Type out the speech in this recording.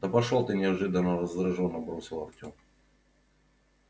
да пошёл ты неожиданно раздражённо бросил артём